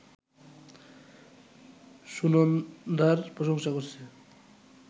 সুনন্দার প্রশংসা করছে